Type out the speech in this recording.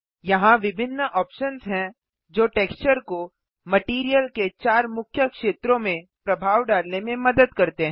यहाँ विभिन्न ऑप्शन्स हैं जो टेक्सचर को मटैरियल के चार मुख्य क्षेत्रों में प्रभाव डालने में मदद करते हैं